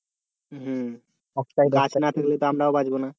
না থাকলে তো আমরাও বাঁচবো না